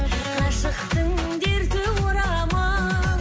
ғашықтың дерті орамал